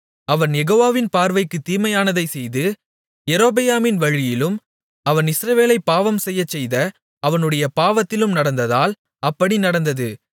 அவன் யெகோவாவின் பார்வைக்குத் தீமையானதைச் செய்து யெரொபெயாமின் வழியிலும் அவன் இஸ்ரவேலைப் பாவம்செய்யச்செய்த அவனுடைய பாவத்திலும் நடந்ததால் அப்படி நடந்தது